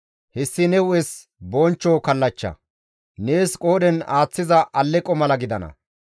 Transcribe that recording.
Hessi ne hu7es bonchcho kallachcha; nees qoodhen aaththiza alleqo mala gidana.